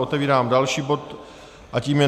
Otevírám další bod a tím je